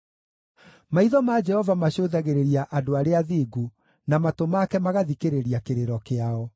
Maitho ma Jehova macũthagĩrĩria andũ arĩa athingu, na matũ make magathikĩrĩria kĩrĩro kĩao;